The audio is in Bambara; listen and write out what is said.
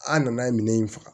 An nana ye minɛn in faga